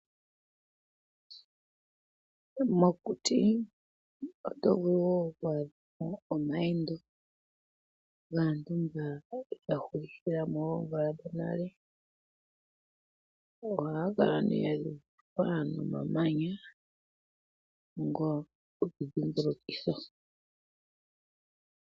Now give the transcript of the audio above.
Mokuti oto vulu wo oku adha mo omayendo gaantu mba ya hulithIle mo oomvula dhonale. Ohaga kala ihe gadhikilwa nomamanya, ngo gokudhimbilukitha.